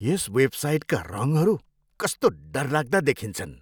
यस वेबसाइटका रङहरू कस्तो डरलाग्दा देखिन्छन्।